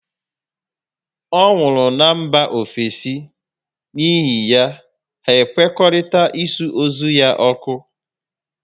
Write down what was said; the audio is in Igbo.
Ọ nwụrụ na mba ofesi, n'ihi ya, hà nkwekọrịtara ịsụ ozu ya ọkụ